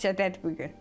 Bağçadadır bu gün.